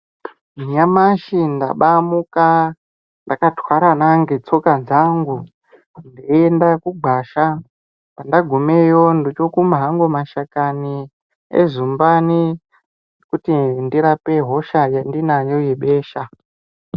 Nyamashi ndabamuka ndakatwarana netsoka dzangu Ndeienda kugwasha pandagumeyo ndochikume hangu mashakani ezumbani kuti ndirape hosha yandinayo yebesha.